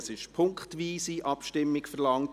Es wurde eine punktweise Abstimmung verlangt.